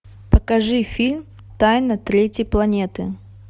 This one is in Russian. покажи фильм тайна третьей планеты